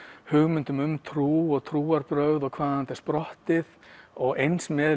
hugmyndum um trú og trúarbrögð og hvaðan þetta er sprottið og eins með